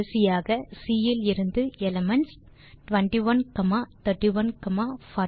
கடைசியாக சி இலிருந்து எலிமென்ட்ஸ் 2131 41 0 ஐ பெறவும்